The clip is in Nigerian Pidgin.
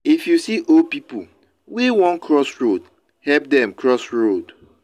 if you see old pipo wey won cross road help dem cross road